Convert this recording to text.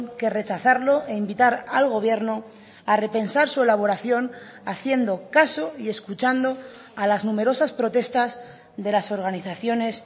que rechazarlo e invitar al gobierno a repensar su elaboración haciendo caso y escuchando a las numerosas protestas de las organizaciones